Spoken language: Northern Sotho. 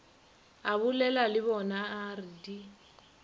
abolela le bonaa re di